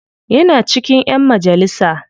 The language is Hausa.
Yana cikin ƴan majalisa.